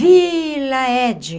Vila Ede.